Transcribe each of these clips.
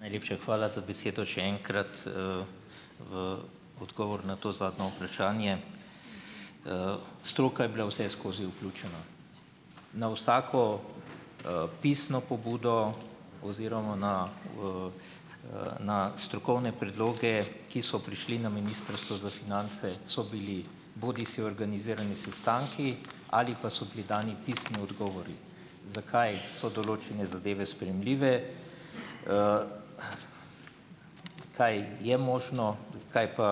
Najlepša hvala za besedo še enkrat. V odgovor na to zadnjo vprašanje. Stroka je bila vseskozi vključena na vsako, pisno pobudo oziroma na, na strokovne predloge, ki so prišli na Ministrstvo za finance so bili bodisi organizirani sestanki ali pa so bili dani pisni odgovori, zakaj so določene zadeve sprejemljive, kaj je možno, kaj pa,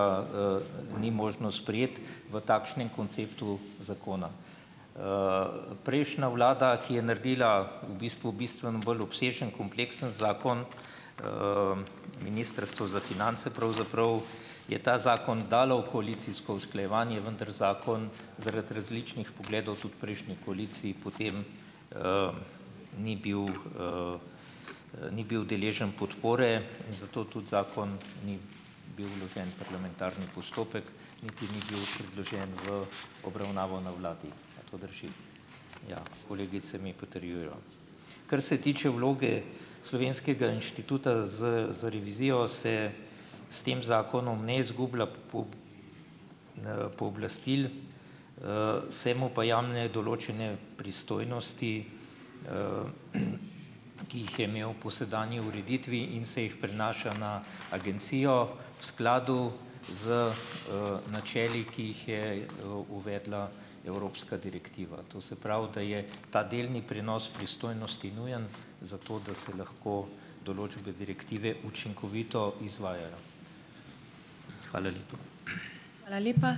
ni možno sprejeti v takšnem konceptu zakona. Prejšnja vlada, ki je naredila v bistvu bistveno bolj obsežen kompleksen zakon, Ministrstvo za finance pravzaprav je ta zakon dalo v koalicijsko usklajevanje, vendar zakon zaradi različnih pogledov tudi v prejšnji koaliciji potem ni bil ni bil deležen podpore, zato tudi zakon ni bil vložen v parlamentarni postopek niti ni bil predložen v obravnavo na vladi. A to drži? Ja, kolegice mi potrjujejo. Kar se tiče vloge slovenskega inštituta za za revizijo, se s tem zakonom ne zgublja pooblastil, se mu pa jamne določene pristojnosti, ki jih je imel po sedanji ureditvi in se jih prenaša na agencijo v skladu z, načeli, ki jih je, uvedla evropska direktiva, to se pravi, da je ta delni prenos pristojnosti nujen zato, da se lahko določbe direktive učinkovito izvajajo. Hvala lepa.